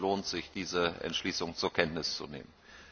Es lohnt sich, diese Entschließung zur Kenntnis zu nehmen.